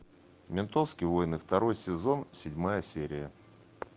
ментовские войны второй сезон седьмая серия